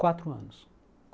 Quatro anos.